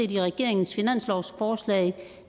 i regeringens finanslovsforslag